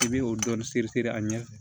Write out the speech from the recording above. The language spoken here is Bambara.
I bɛ o dɔɔnin siri siri a ɲɛ fɛ